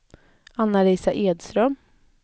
Anna-Lisa Edström